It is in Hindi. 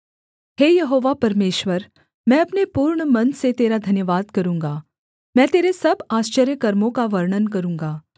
हे यहोवा परमेश्वर मैं अपने पूर्ण मन से तेरा धन्यवाद करूँगा मैं तेरे सब आश्चर्यकर्मों का वर्णन करूँगा